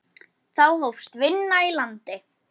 Þá hófst vinna í landi.